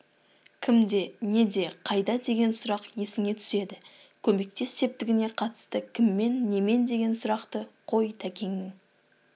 кімде неде қайда деген сұрақ есіңе түседі көмектес сетпігіне қатысты кіммен немен деген сұрақты қой тәкеңнің